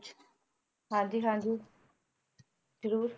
ਹਾਂਜੀ ਹਾਂਜੀ ਜਰੂਰ